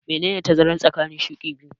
Menene tazara tsakanin shuƙi biyu?